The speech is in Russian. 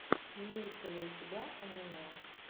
имеется ли у тебя аниме